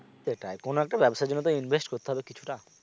সেটাই কোনো একটা ব্যবসার জন্য তো invest করতে হবে কিছুটা